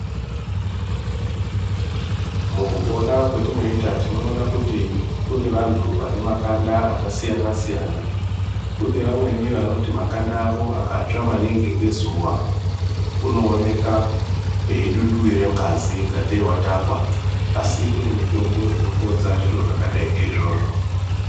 Mukupona kwetinoita tinoona kuti kune vantu vanemakanda akasiyana siyana. Kune vamweni vanoti vakatsva maningi ngezuva unooneka eidunduwire ngazi Ingateyi watakwa asi kune mitombo inopodza zvirozvo zvakadai ngeizvozvo.